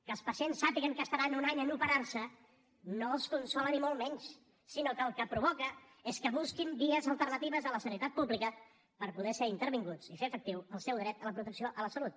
que els pacients sàpiguen que estaran un any a operar se no els consola ni molt menys sinó que el que provoca és que busquin vies alternatives a la sanitat pública per poder ser intervinguts i fer efectiu el seu dret a la protecció a la salut